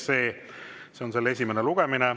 See oleks selle esimene lugemine.